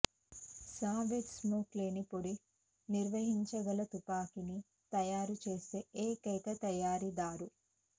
Savage smoke లేని పొడిని నిర్వహించగల తుపాకీని తయారు చేసే ఏకైక తయారీదారు